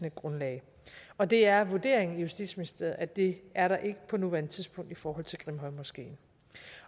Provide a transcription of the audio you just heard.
et grundlag og det er vurderingen i justitsministeriet at det er der ikke på nuværende tidspunkt i forhold til grimhøjmoskeen